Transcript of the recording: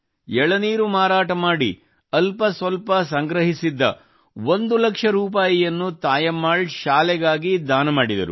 ಎಳನೀರು ಮಾರಾಟ ಮಾಡಿ ಅಲ್ಪ ಸ್ವಲ್ಪ ಸಂಗ್ರಹಿಸಿದ್ದ ಒಂದು ಲಕ್ಷ ರೂಪಾಯಿಯನ್ನು ತಾಯಮ್ಮಾಳ್ ಶಾಲೆಗಾಗಿ ದಾನ ಮಾಡಿದರು